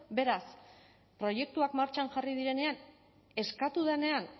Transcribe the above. beraz proiektuak martxan jarri direnean eskatu denean